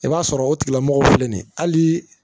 I b'a sɔrɔ o tigilamɔgɔw filɛ nin ye hali